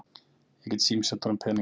Ég get símsent honum peninga.